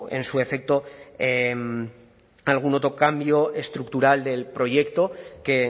en su defecto algún otro cambio estructural del proyecto que